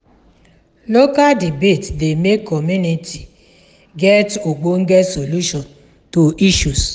local debate dey make community get ogbonge solution to isssues